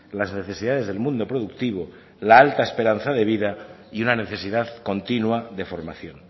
las necesidades del mundo productivo la alta esperanza de vida y una necesidad continua de formación